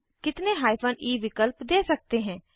हम कितने hyphen E विकल्प दे सकते हैं